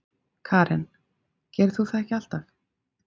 Karen: Gerir þú það ekki alltaf?